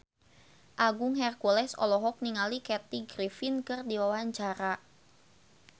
Agung Hercules olohok ningali Kathy Griffin keur diwawancara